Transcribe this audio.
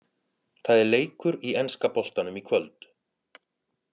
Það er leikur í enska boltanum í kvöld!